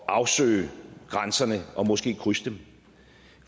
at afsøge grænserne og måske krydse dem